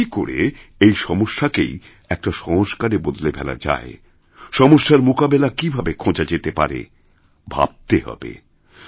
কিন্তু কী করে এই সমস্যাকেই একটা সংস্কারে বদলে ফেলা যায় সমস্যারমোকাবিলা কীভাবে খোঁজা যেতে পারে ভাবতে হবে